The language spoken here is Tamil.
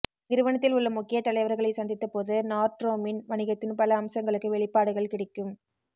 நிறுவனத்தில் உள்ள முக்கிய தலைவர்களைச் சந்தித்தபோது நார்ட்ட்ரோமின் வணிகத்தின் பல அம்சங்களுக்கு வெளிப்பாடுகள் கிடைக்கும்